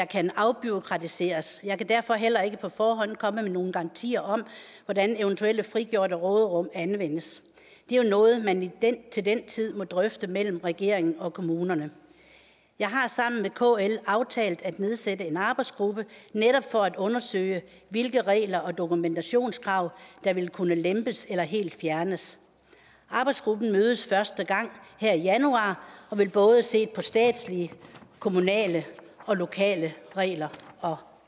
kan afbureaukratiseres jeg kan derfor heller ikke på forhånd komme med nogen garantier om hvordan eventuelle frigjorte råderum anvendes det er jo noget man til den tid må drøfte mellem regeringen og kommunerne jeg har sammen med kl aftalt at nedsætte en arbejdsgruppe netop for at undersøge hvilke regler og dokumentationskrav der vil kunne lempes eller helt fjernes arbejdsgruppen mødes første gang her i januar og vil både se på statslige kommunale og lokale regler og